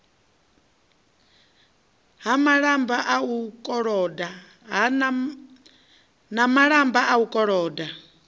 na malamba a u koloda